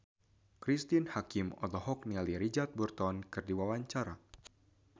Cristine Hakim olohok ningali Richard Burton keur diwawancara